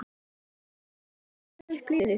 Vantar þig hjálp með að stilla upp liðið?